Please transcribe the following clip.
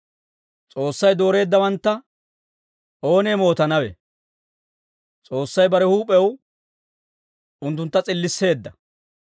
S'oossay dooreeddawantta oonee mootanawe? S'oossay bare huup'ew unttuntta s'illisseedda.